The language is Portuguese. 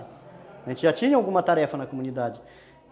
A gente já tinha alguma tarefa na comunidade.